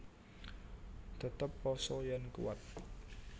Tetep pasa yèn kuwat